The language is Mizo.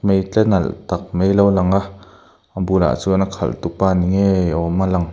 mai tle nalh tak mai alo lang a a bulah chuan a khalh tupa ni ngei awma lang--